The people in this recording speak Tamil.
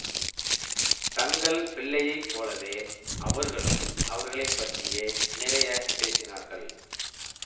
தங்கள் பிள்ளையை போலவே அவர்களும் அவர்களை பற்றியே நிறைய பேசினார்கள்